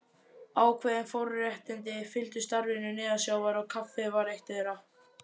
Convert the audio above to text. Ákveðin forréttindi fylgdu starfinu neðansjávar og kaffið var eitt þeirra.